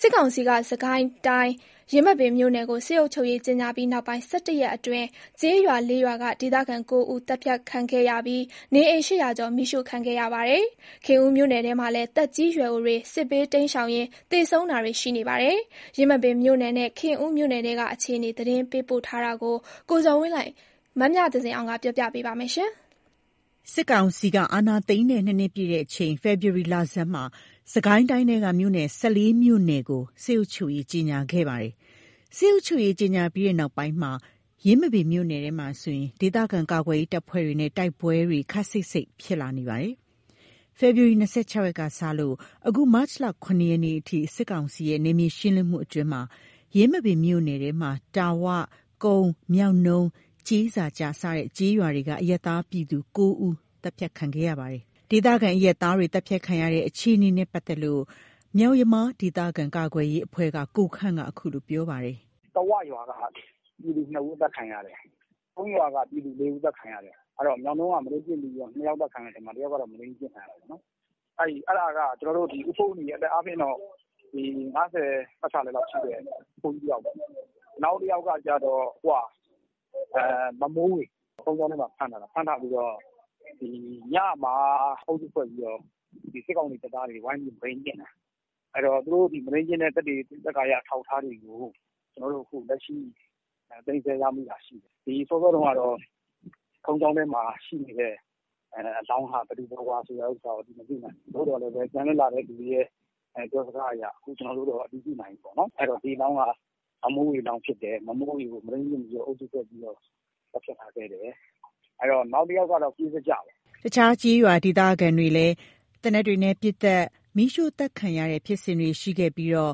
စစ်ကောင်စီက စစ်ကိုင်းတိုင်း၊ ယင်းမာပင်မြို့နယ်ကို စစ်အုပ်ချုပ်ရေး ကြေငြာပြီးနောက်ပိုင်း ၁၁ ရက်အတွင်း ကျေးရွာ ၄ ရွာက ဒေသခံ ၉ ဦး သတ်ဖြတ်ခံခဲ့ရပြီး နေအိမ် ၈၀၀ ကျော် မီးရှို့ခံခဲ့ရပါတယ်။ ခင်ဦးမြို့နယ်ထဲမှာလည်း သက်ကြီးရွယ်အိုတွေ စစ်ဘေးတိမ်းရှောင်ရင်း သေဆုံးတာတွေ ရှိနေပါတယ်။ ယင်းမာပင်မြို့နယ်နဲ့ ခင်ဦးမြို့နယ်ထဲက အခြေအနေ သတင်းပေးပို့ထားတာကို မမြသဇင်အောင်ကက ပြောပြပါမယ်။ စစ်ကောင်စီဟာ အာဏာသိမ်းတဲ့ ၂ နှစ်ပြည့်ချိန် ဖေဖော်ဝါရီ လဆန်းမှာ စစ်ကိုင်းတိုင်းထဲက မြို့နယ် ၁၄ မြို့နယ်ကို စစ်အုပ်ချုပ်ရေး ကြေငြာခဲ့ပါတယ်။ စစ်အုပ်ချုပ်ရေး ကြေငြာပြီးနောက်ပိုင်း ယင်းမာပင်မြို့နယ်ထဲမှာဆိုရင် ဒေသခံကာကွယ်ရေးတပ်ဖွဲ့တွေနဲ့ တိုက်ပွဲတွေ ခပ်စိပ်စိပ် ဖြစ်လာနေပါတယ်။ ဖေဖော်ဝါရီ ၂၆ ရက်ကစလို့ အခု မတ်လ ၇ ရက်နေ့အထိ စစ်ကောင်စီရဲ့ နယ်မြေရှင်းလင်းမှုတွေအတွင်း ယင်းမာပင်မြို့နယ်ထဲမှာ တာ၀ ၊ ကုန်း ၊ မြောက်နုံး ၊ ကျေးစာကျ စတဲ့ ကျေးရွာတွေက အရပ်သား ပြည်သူ ၉ ဦး သတ်ဖြတ်ခံခဲ့ရပါတယ်။ ဒေသခံအရပ်သားတွေ သတ်ဖြတ်ခံရတဲ့အခြေနေနဲ့ ပတ်သက်လို့ မြောက်ယမား ဒေသခံကာကွယ်ရေးအဖွဲ့က ကိုခန့်က အခုလို ပြောပါတယ်။ “တာဝရွာက ပြည်သူ ၂ ဦး အသတ်ခံရတယ်။ ကုန်းရွာက ပြည်သူ ၄ ဦး အသတ်ခံရတယ်။ မြောက်နုံးက မုဒိန်းကျင့်ပြီးတော့ ၂ ယောက် အသတ်ခံရတဲ့ထဲမှာ တယောက်က မုဒိန်းကျင့်ခံရတာပေါ့။ အဲ့ဒါက ဦးဖိုးနီ အသက်အားဖြင့်တော့ ၅၀ ပတ်ချာလည်လောက်ရှိတဲ့ အဖိုးကြီးတယောက်ပေါ့။ နောက်တယောက်က မမိုးဝေ ဘုန်းကြီးကျောင်းထဲမှာ ဖမ်းထားတာ ဖမ်းထားပြီးတော့ ညမှာ အုပ်စုဖွဲ့ပြီးတော့ စစ်ကောင်စီတပ်သားတွေ ဝိုင်းပြီးတော့ မုဒိန်းကျင့်တာ။ သူတို့မုဒိန်းကျင့်တဲ့ သက်သေအထောက်အထားတွေကို ကျွန်တော်တို့ သိမ်းဆည်းရမိထားတာရှိတယ်။ စောစောက ဘုန်းကြီးကျောင်းထဲမှာ ရှိနေတဲ့ အလောင်းဟာ ဘယ်သူဘယ်ဝါဆိုတာကို မသိနိုင်ဘူး။ သို့သော်ပြန်လွတ်လာတဲ့သူတွေရဲ့ ပြောစကားအရ အခု ကျွန်တော်တို့ အတည်ပြုနိုင်ပြီပေါ့။ ဒီအလောင်းက မမိုးဝေဖြစ်တယ် မုဒိန်းကျင့်ပြီး သတ်ဖြတ်ထားခဲ့တယ်။ နောက်တယောက်က ကျေးစာကျပေါ့။” အခြားကျေးရွာက ဒေသခံတွေဟာ သေနတ်တွေနဲ့ ပစ်သတ် မီးရှို့ သတ်ခံရခဲ့ရတာတွေဖြစ်ပြီး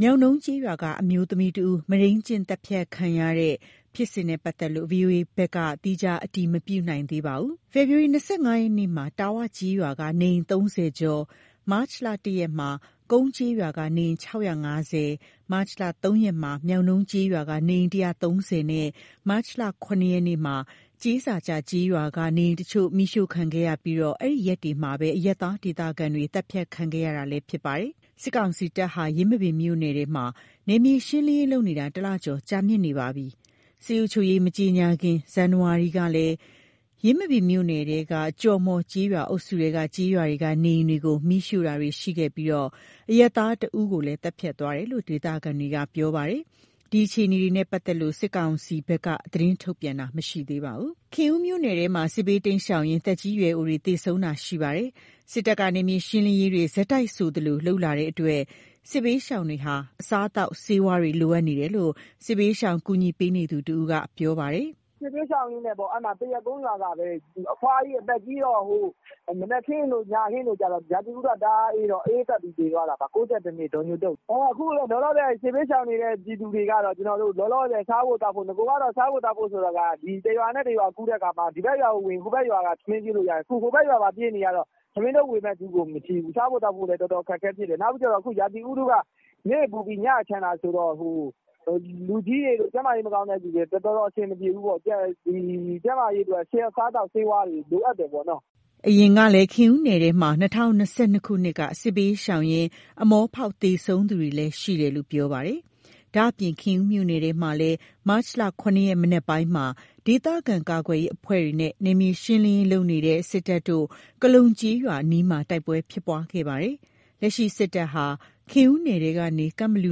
မြောက်နုံးကျေးရွာက အမျိုးသမီးတဦး မုဒိန်းကျင့်သတ်ဖြတ်ခံရတဲ့ ဖြစ်စဉ်နဲ့ ပတ်သက်လို့ ဗွီအိုအေဘက်က သီးခြား အတည်မပြုနိုင်သေးပါဘူး။ ဖေဖော်ဝါရီ ၂၅ ရက်မှာ တာ၀ ကျေးရွာက နေအိမ် ၃၀ ကျော် ၊ မတ်လ ၁ ရက်မှာ ကုန်းကျေးရွာက နေအိမ် ၆၅၀ ၊ မတ်လ ၃ ရက်မှာ မြောက်နုံးကျေးရွာက နေအိမ် ၁၃၀ နဲ့ မတ်လ ၇ ကျေးစာကျ ကျေးရွာက နေအိမ်အချို့ မီးရှို့ခဲ့ပြီး အဲ့ဒီရက်တွေမှာပဲ အရပ်သား ဒေသခံတွေ သတ်ဖြတ်ခံခဲ့ရတာလည်း ဖြစ်ပါတယ်။ စစ်ကောင်စီတပ်ဟာ ယင်းမာပင်မြို့နယ်ထဲမှာ နယ်မြေရှင်းလင်းရေးလုပ်နေတာ ၁ လကျော် ကြာမြင့်နေပါပြီ။ စစ်အုပ်ချုပ်ရေး မကြေငြာမှီ ဇန်နဝါရီ လကလည်း ယင်းမာပင်မြို့နယ်ထဲက ကျော်မှော်ကျေးရွာ အုပ်စုထဲက ကျေးရွာတွေက နေအိမ်တွေကို မီးရှို့တာတွေ လုပ်ခဲ့ပြီး အရပ်သား ၁ ဦးကိုလည်း သတ်ဖြတ်သွားသေးတယ်လို့ ဒေသခံတွေက ပြောပါတယ်။ ဒီအခြေအနေတွေနဲ့ ပတ်သက်လို့ စစ်ကောင်စီဘက်ကလည်း သတင်းထုတ်ပြန် တာမရှိသေးပါဘူး။ ခင်ဦးမြို့နယ်ထဲမှာလည်း စစ်ဘေးတိမ်းရှောင်ရင်း သက်ကြီးရွယ်အိုတွေ သေဆုံးတာတွေ ရှိနေပါတယ်။ စစ်တပ်က နယ်မြေရှင်းလင်းရေးတွေ ဆက်တိုက်ဆိုသလို လုပ်လာနေတဲ့အတွက် စစ်ဘေးရှောင်တွေဟာ အစားအသောက်ဆေးဝါးတွေ လိုအပ်နေတယ်လို့ စစ်ဘေးရှောင် ကူညီပေးနေသူတဦးက ပြောပါတယ်။ “စစ်ဘေးရှောင်ရင်းနဲ့ပေါ့ သရက်ကုန်းရွာကပဲ အဖွားကြီး အသက်ကြီးတော့ မနက်ခင်းတို့ ညခင်းတို့ ရာသီဥတုက တအားအေးတော့ အအေးပတ်ပြီး သေသွားတာ။ ၉၁ နှစ် ဒေါ်ညိုတုတ်။ အခုလောလောဆယ် စစ်ဘေးရှောင်နေတဲ့ ပြည်သူတွေကတော့ လောလောဆယ် စားဖို့သောက်ဖို့ နဂိုက စားဖို့သောက်ဖို့ဆိုတာ တရွာနဲ့ တရွာကူးတဲ့အခါမှာ ဒီဘက်ရွာကိုဝင်ရင် ဟိုဘက်ရွာက ထမင်းကျွေးလို့ရသေးတယ်။ အခုဟိုဘက် ရွာပါပြေးနေရတော့ ထမင်းထုတ်ဝေမယ့်သူကို မရှိဘူး။ စားဖို့ သောက်ဖို့လည်း အခက်အခဲဖြစ်တယ်။ နောက်ပြီးကျတော့ ရာသီဥတုက နေ့ပူပြီး ညချမ်းတာဆိုတော့ ကျန်းမာရေးအတွက် တော်တော်အဆင်မပြေဘူး။ ကျန်းမာရေးအတွက် အစားအသောက် ဆေးဝါးတွေ လိုအပ်တယ်ပေါ့။” အရင်ကလည်း ခင်ဦးနယ်ထဲမှာ ၂၀၂၂ ခုနှစ်က စစ်ဘေးရှောင်ရင်း အမောဖောက်ပြီး သေဆုံးသွားသူတွေ ရှိတယ်လို့လည်း ပြောပါတယ်။ ဒါ့အပြင် ခင်ဦးမြို့နယ်ထဲမှာလည်း မတ်လ ၇ ရက် မနက်ပိုင်းမှာ ဒေသခံကာကွယ်ရေး အဖွဲ့တွေနဲ့ နယ်မြေရှင်းလင်းရေး လုပ်နေတဲ့ စစ်တပ်တို့ ကလုံ ကျေးရွာအနီးမှာ တိုက်ပွဲ ဖြစ်ပွားခဲ့ကြပါသေးတယ်။ လက်ရှိ စစ်တပ်ဟာ ခင်ဦးနယ်ထဲကနေ ကန့်ဘလူ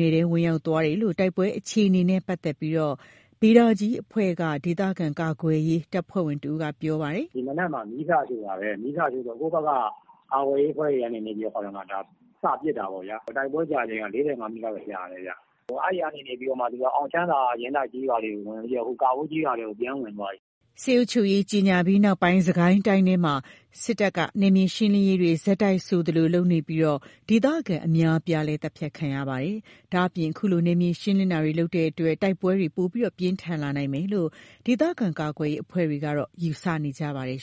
နယ်ထဲကို ဝင်ရောက်သွားတယ်လို့ တိုက်ပွဲအခြေအနေနဲ့ ပတ်သက်လို့ ဗေဒါကြီးအဖွဲ့က ဒေသခံကာကွယ်ရေး တပ်ဖွဲ့ဝင်တဦးက ပြောပါတယ်။ “ဒီမနက်မှာ မီးစရှို့တာပဲ။ မီးစရှို့တော့ ကိုယ့်ဘက်က ကာကွယ်ရေးအဖွဲ့တွေကနေ စပစ်တာပေါ့။ တိုက်ပွဲကြာချိန်က ၄၅ မိနစ်လောက်တော့ကြာတယ်။ အဲ့ကနေပြီးတော့မှ အောင်ချမ်းသာ ယင်းတိုက်ကျေးရွာတွေကိုဝင်ပြီးတော့ (ကန့်ဘလူ) ကာဘိုးကျေးရွာထဲကို ဝင်သွားပြီ။” စစ်အုပ်ချုပ်ရေး ကြေငြာပြီးနောက်ပိုင်း စစ်ကိုင်းတိုင်းထဲမှာ စစ်တပ်က နယ်မြေရှင်းလင်းရေးတွေ ဆက်တိုက်ဆိုသလို ပြုလုပ်နေပြီး ဒေသခံတွေလည်း အများအပြား သတ်ဖြတ်ခံနေရပါတယ်။ ဒါ့အပြင် အခုလို နယ်မြေရှင်းလင်းတာတွေ လုပ်နေတဲ့အတွက် တိုက်ပွဲတွေလည်း ပိုမိုပြင်းထန်လာနိုင်မယ်လို့ ဒေသခံကာကွယ်ရေး အဖွဲ့တွေက ယူဆနေပါတယ်